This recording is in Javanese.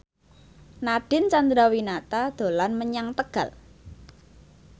Nadine Chandrawinata dolan menyang Tegal